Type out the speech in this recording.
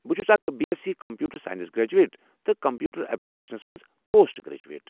بہٕ چھس اکھ B S C computer science graduate تہٕ کمپیوٹر ایپلیکیشنس منٛز پوسٹ گریجویٹ۔